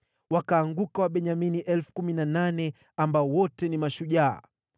Wakaanguka Wabenyamini 18,000 ambao wote ni mashujaa.